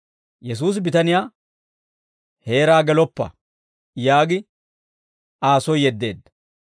Yesuusi bitaniyaa, «Heeraa geloppa» yaagi Aa soy yeddeedda.